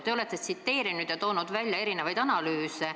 Te olete tsiteerinud ja toonud välja erinevaid analüüse.